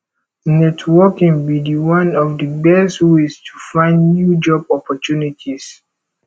networking be di one of di best ways to find new job opportunities